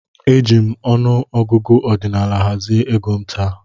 Eji m ọnụ ọgụgụ ọdinaala hazie égo m taa.